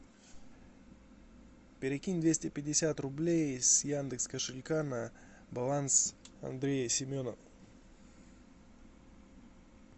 перекинь двести пятьдесят рублей с яндекс кошелька на баланс андрея семена